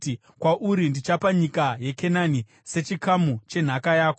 “Kwauri ndichapa nyika yeKenani, sechikamu chenhaka yako.”